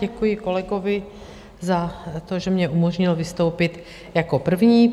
Děkuji kolegovi za to, že mně umožnil vystoupit jako první.